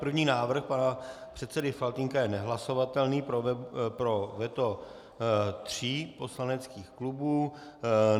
První návrh pana předsedy Faltýnka je nehlasovatelný pro veto tří poslaneckých klubů.